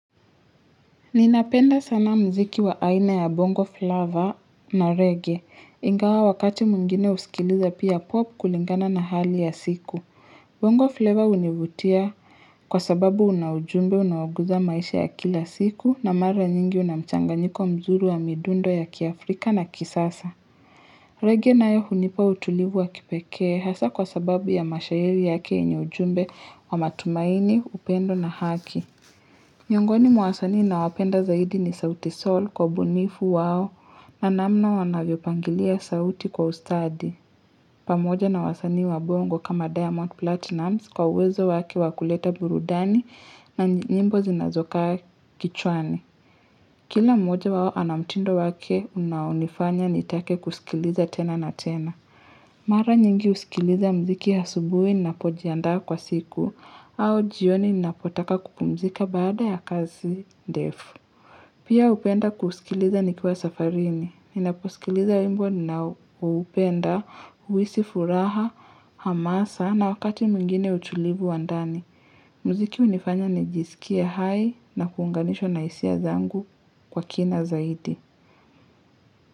Ninapenda sana muziki wa aina ya bongo flavor na regae, ingawa wakati mwingine husikiliza pia pop kulingana na hali ya siku. Bongo flavor hunivutia kwa sababu una ujumbe unaoguza maisha ya kila siku na mara nyingi unamchangnyiko mzuri wa midundo ya kiafrika na kisasa. Regea nayo hunipa utulivu wa kipekee hasa kwa sababu ya mashairi yake yenye ujumbe wa matumaini, upendo na haki. Miongoni mwa wasanii na wapenda zaidi ni sauti sol kwa ubunifu wao na namna wanavyo pangilia sauti kwa ustadi. Pamoja na wasanii wa bongo kama Diamond platinumz kwa uwezo wake wa kuleta burudani na nyimbo zinazokaa kichwani. Kila moja wao ana mtindo wake unaonifanya nitake kusikiliza tena na tena. Mara nyingi husikiliza muziki asubuhi, ninapojiandaa kwa siku, au jioni ninapotaka kupumzika baada ya kazi ndefu. Pia hupenda kusikiliza nikiwa safarini. Ninaposikiliza wimbo ninaoupenda, huhisi furaha, hamasa, na wakati mwingine utulivu wa ndani. Muziki hunifanya nijisikie hai na kuunganishwa na hisia zangu kwa kina zaidi.